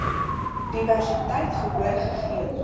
diversiteit gehoor gegee